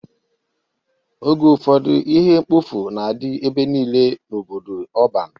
Oge ụfọdụ ihe mkpofu na-adị ebe niile n'obodo ọban.